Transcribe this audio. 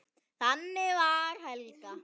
Þannig var Helga.